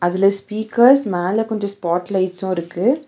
அதுல ஸ்பீக்கர்ஸ் மேல கொஞ்ஜ ஸ்பாட் லைட்ஸ்சு இருக்கு.